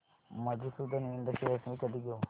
मधुसूदन इंड शेअर्स मी कधी घेऊ